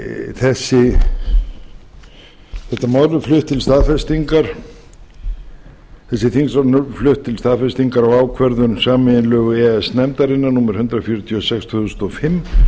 þessi þingsályktunartillaga er flutt til staðfestingar ákvörðun sameiginlegu e e s nefndarinnar númer hundrað fjörutíu og sex tvö þúsund og fimm